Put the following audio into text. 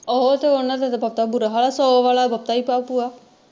ਓਹੋ ਤੇ ਓਹਨਾ ਦਾ ਤੇ ਬਹੁਤ ਬੁਰਾ ਹਾਲ ਸੋ ਵਾਲਾ ਬਹੁਤ ਹੀ ਭੂਆ।